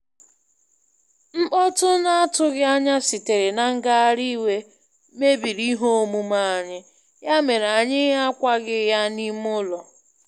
Mkpọtụ na-atughị anya sitere na ngagharị iwe mebiri ihe omume anyị, ya mere anyị akwaga ya n'ime ụlọ.